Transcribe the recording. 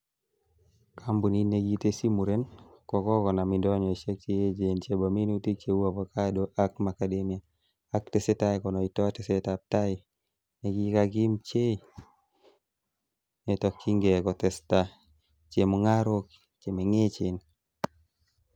Kompunit nekitesyi muren, kokonam indonyoisiek cheechen chebo minutik cheu avocado ak macadamia, ak tesetai konoito tesetab tai nekakimpchei netokyinge kotesta chemungarok che mengechen.